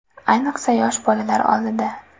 Ayniqsa yosh bolalar oldida.